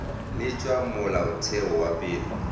le tša molaotheo wa pele